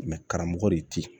karamɔgɔ de te yen